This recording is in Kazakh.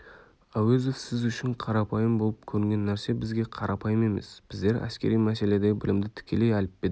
әуезов сіз үшін қарапайым болып көрінген нәрсе бізге қарапайым емес біздер әскери мәселедегі білімді тікелей әліппеден